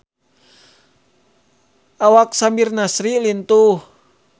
Awak Samir Nasri lintuh